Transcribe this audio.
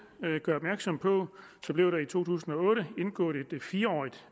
gør opmærksom på blev der i to tusind og otte indgået et fire årig